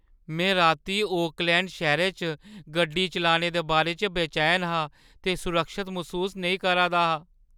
में रातीं ओकलैंड शैह्‌रै च गड्डी चलाने दे बारै बेचैन हा ते सुरक्खत मसूस नेईं हा करा दा ।